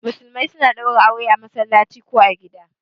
Musulmai suna ɗaura aure a masallaci ko gida